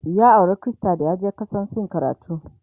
ya aura Krista dayaje kasan sin karatu